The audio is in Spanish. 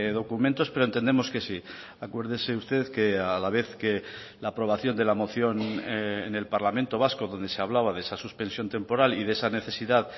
documentos pero entendemos que sí acuérdese usted que a la vez que la aprobación de la moción en el parlamento vasco donde se hablaba de esa suspensión temporal y de esa necesidad